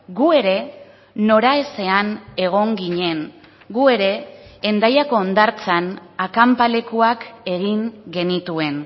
gu ere noraezean egon ginen gu ere hendaiako hondartzan akanpalekuak egin genituen